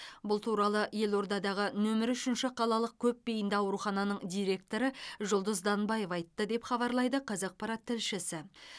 бұл туралы елордадағы нөмірі үшінші қалалық көпбейінді аурухананың директоры жұлдыз данбаева айтты деп хабарлайды қазақпарат тілшісі